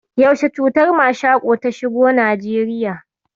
Yaushe cutar mashaƙo ta shigo Najeriya?